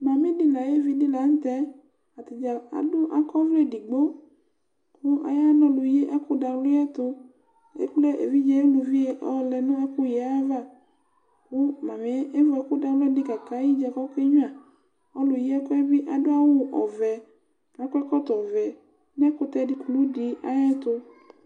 Mami di nu ayevi ɖi la nu tɛ Ataɖza aɖu, akɔ ɔwlɛ eɖigbo, ku aya lu ɔnu yi nu ɛkuɖawliyɛ ayɛtu Ekple evidze uluʋi ɔlɛ nu ɛkuyi yɛ ãyãvã Ku mami yɛ evu ɛku ɖawli di kàka ayiɖza ku ɔke gnuà Ɔluyiɛku yɛ bi aɖu awu ɔwɛ, ku akɔ ɛkɔtɔ ɔwɛ nu ɛkutɛ kuluɖi ayu ɛtu